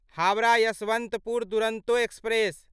Howrah Yesvantpur Duronto express